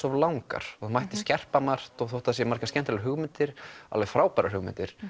of langar það mætti skerpa margt og þótt það séu margar skemmtilegar hugmyndir alveg frábærar hugmyndir